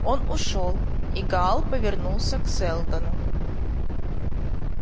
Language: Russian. он ушёл и гаал повернулся к сэлдону